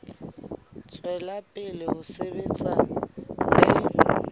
tswela pele ho sebetsa le